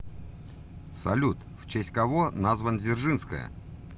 салют в честь кого назван дзержинская